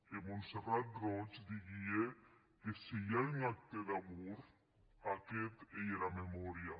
e montserrat roig didie que se i a un acte d’amor aguest ei era memòria